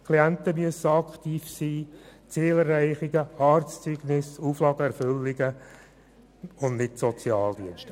Die Klienten müssten – bezüglich Zielerreichung, Arztzeugnisse und Auflagenerfüllung – aktiv sein und nicht die Sozialdienste.